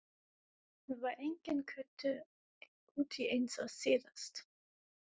Það var enginn köttur úti eins og síðast.